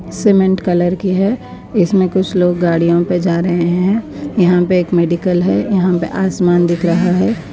Cement colour کی ہے۔ اس میں کچھ لوگ گاڑیوں پہ جا رہے ہیں یہاں پہ ایک میڈیکل ہے، یہاں پہ آسمان دکھ رہا ہے۔